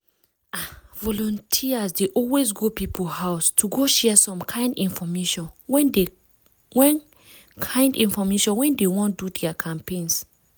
ah! volunteers dey always go people house to go share some kind infomation when kind infomation when dey wan do their campaigns.